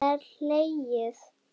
Það er hlegið.